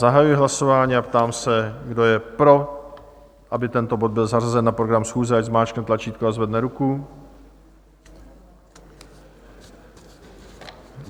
Zahajuji hlasování a ptám se, kdo je pro, aby tento bod byl zařazen na program schůze, ať zmáčkne tlačítko a zvedne ruku.